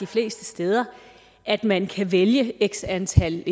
fleste steder at man kan vælge x antal